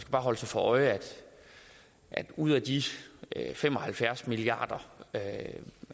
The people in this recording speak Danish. bare holde sig for øje at ud af de fem og halvfjerds milliard